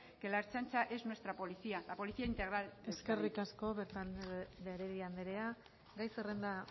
que la ertzaintza es nuestra policía la policía integral de euskadi eskerrik asko beltrán de heredia anderea gai zerrenda